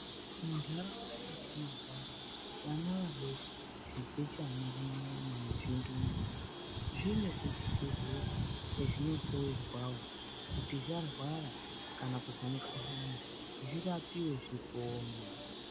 Mundaraunda metinogara vana vadoko zvichechana kunyanya nezvindumure. Zvine kuchibhedhlera kwezvinohloerwavo kuti zvarwara kana kuzwa mukuhlani zvirapive zvipone.